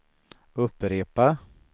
upprepa